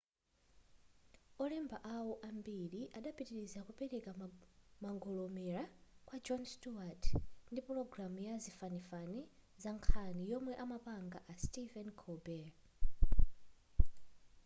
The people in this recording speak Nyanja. olemba awo ambiri adapitiliza kupereka mangolomera kwa jon stewart ndi pulogalamu ya zazifanifani zankhani yomwe amapanga a stephen colbert